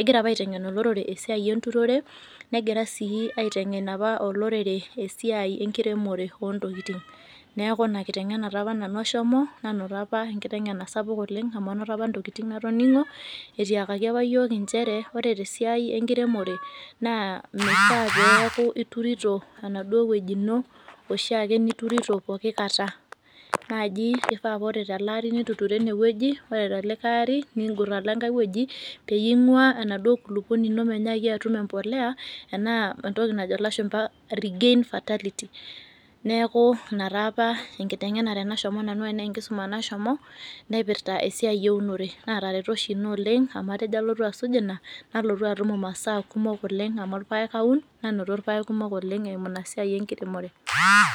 egira apa aiteng'en olorere esiai enturore negira sii aiteng'ena apa olorere esiai enkiremore oontokitin. Neaku ina kiteng'ena taapa nanu ashomo nanoto apa enkiteng'ena sapuk oleng' amu anoto apa intokitin natoning'o etiakaki apa yiook inchere ore tesiai enkiremore naa meifaa peeaku iturito enaduo wueji ino oshiake niturito pooki kata naaji eifaa ore teleari nituturo enewueji ore telikai ari nindurr alo engai wueji peyie ing'uaa enaduo kulukuoni ino menyaaki atum empolea enaa entoki najo lashumba regain fertility neaku inataapa enkiteng'enare nashomo nanu anaa enkisuma nashomo naipirta esiai eunore naataretuo oshi ina oleng' amu tejo alotu asuj ina nalotu atum imasaa kumok oleng' amu irpaek aun nanoto irpaek kumok oleng' eimu inasiai enkiremore.